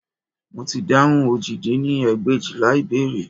Mo ti dáhùn òjì dín ní ẹgbẹ̀éjìlá ìbéèrè